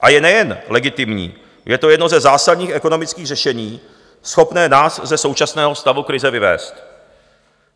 A je nejen legitimní, je to jedno ze zásadních ekonomických řešení, schopné nás ze současného stavu krize vyvést.